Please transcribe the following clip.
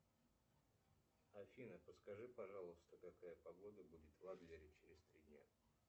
афина подскажи пожалуйста какая погода будет в адлере через три дня